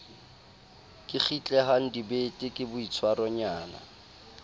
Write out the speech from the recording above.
ke kgitlehang dibete ke boitshwaronyana